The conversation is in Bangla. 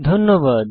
ধন্যবাদ